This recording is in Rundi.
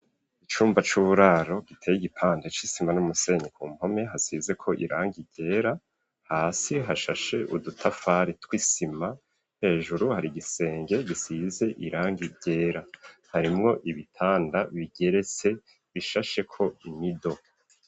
Icumba c'uburaro, giteye igipande c'isima, n'umusenyi; ku mpome, hasizeko irangi ryera; hasi hashashe udutafari, tw'isima; hejuru hari igisenge, gisize irangi ryera, harimwo ibitanda, bigeretse, bishasheko imido.